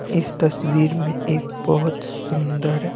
इस तस्वीर में एक बहुत सुंदर--